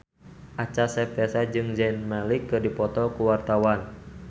Acha Septriasa jeung Zayn Malik keur dipoto ku wartawan